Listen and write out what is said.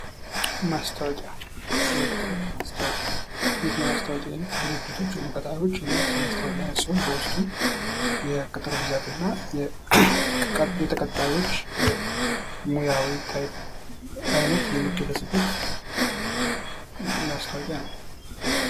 ማስታወቂያ የቅጥር ማስታወቂያ ይህ የማስታወቂያ አይነት ድርጅቶች ወይም ቀጣሪዎች የሚያወጡት የማስታወቂያ አይነት ሲሆን በውስጡም የቅጥር ብዛትና የተቀጣሪዎች ሙያዊ አይነት የሚገለፅበት ማስታወቂያ ነው።